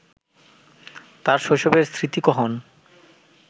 তাঁর শৈশবের স্মৃতিকহন